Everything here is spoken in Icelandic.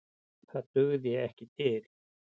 Það dugði ekki til.